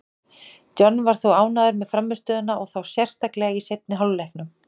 John var þó ánægður með frammistöðuna, og þá sérstaklega í seinni hálfleiknum.